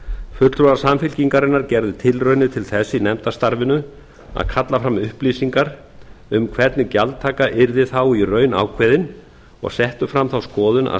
fulltrúar samfylkingarinnar gerðu tilraunir til þess í nefndarstarfinu að kalla fram upplýsingar um hvernig gjaldtaka yrði þá í raun ákveðin og settu fram þá skoðun að